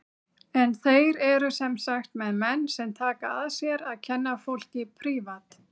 En þeir eru sem sagt með menn sem taka að sér að kenna fólki prívat.